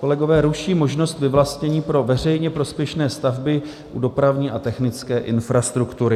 Kolegové ruší možnost vyvlastnění pro veřejně prospěšné stavby u dopravní a technické infrastruktury.